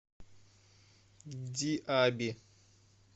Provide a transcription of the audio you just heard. диаби